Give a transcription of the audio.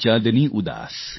शरद चाँदनी उदास